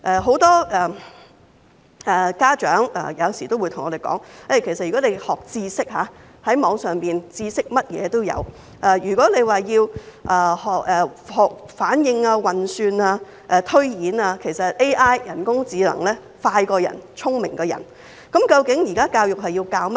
很多家長有時候會對我們說，如果要學習知識，網上甚麼知識都有；如果要學習反應、運算、推演，其實人工智能比人類更快、更聰明。